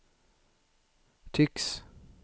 tycks